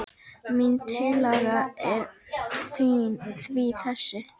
Mín tillaga er því þessi